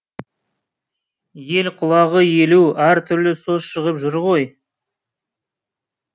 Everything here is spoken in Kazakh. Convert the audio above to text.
ел құлағы елу әр түрлі сөз шығып жүр ғой